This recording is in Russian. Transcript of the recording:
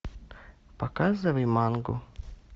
показывай мангу